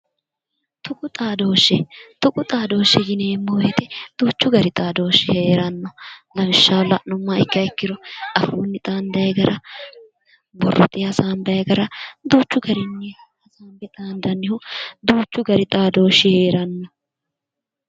Tuqu xaadooshshe, tuqu xaadooshshe yineemmo woyite duuchu gari xaadooshshi heeranno. Lawishshaho la'nummoha ikkiha ikkiro afuunni xaandayi gara borrote hasaanbayi gara duuchu gari xaandannihu duuchu gari xaadooshshi heeranno.